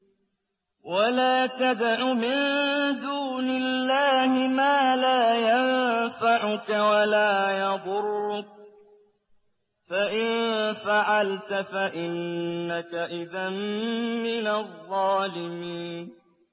وَلَا تَدْعُ مِن دُونِ اللَّهِ مَا لَا يَنفَعُكَ وَلَا يَضُرُّكَ ۖ فَإِن فَعَلْتَ فَإِنَّكَ إِذًا مِّنَ الظَّالِمِينَ